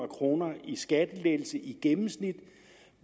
kroner i skattelettelse i gennemsnit